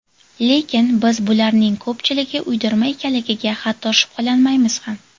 Lekin biz bularning ko‘pchiligi uydirma ekanligiga hatto shubhalanmaymiz ham.